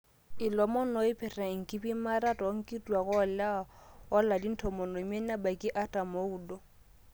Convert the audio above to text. ilomon ooipirta enkipimata too nkituaak olewa oolarin tomon oimiet nebaiki artam ooudo